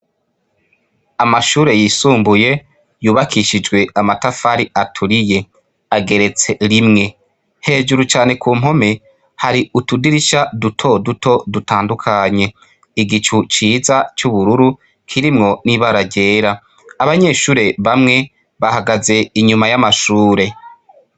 Amashure yisumbuye, yubakishijwe amatafari aturiye; ageretse rimwe. Hejuru cane ku mpome, hari utudirisha dutoduto dutandukanye. Igicu ciza c'ubururu, kirimwo n'ibara ryera. Abanyeshure bamwe, bahagaze inyuma y'amashure.